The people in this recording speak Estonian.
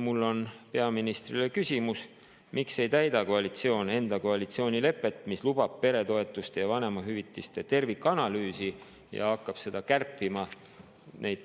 Mul on peaministrile küsimus: miks ei täida koalitsioon koalitsioonilepet, mis lubab peretoetuste ja vanemahüvitise tervikanalüüsi, ja hakkab neid